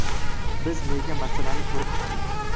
Biz nega masalani ko‘rib chiqdik?